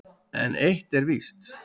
En eitt er víst: